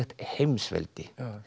heimsveldi